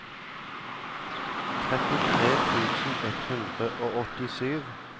trettitre tusen ett hundre og åttisju